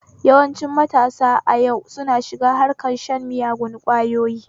Yawancin matasa a yau suna shiga harkar shan miyagun ƙwayoyi